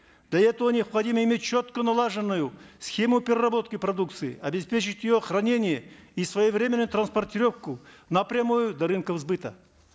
для этого необходимо иметь четко налаженную схему переработки продукции обеспечить ее хранение и своевременную транспортировку напрямую до рынков сбыта